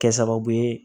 Kɛ sababu ye